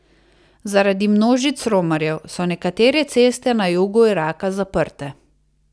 Zaradi množic romarjev so nekatere ceste na jugu Iraka zaprte.